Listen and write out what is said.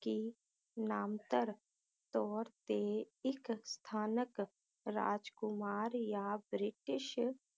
ਕਿ ਨਾਮਤਰ ਤੌਰ ਤੇ ਇਕ ਸਥਾਨਕ ਰਾਜਕੁਮਾਰ ਯਾ ਬ੍ਰਿਟਿਸ਼